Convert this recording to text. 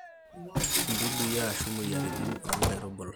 idudui ashu moyiaritin oo nkaitubulu